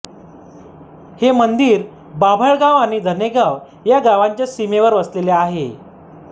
हे मंदिर बाभळगाव आणि धनेगाव या गावांच्या सीमेवर वसलेले आहे